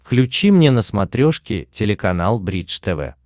включи мне на смотрешке телеканал бридж тв